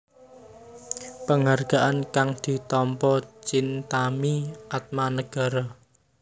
Penghargaan kang ditampa Chintami Atmanegara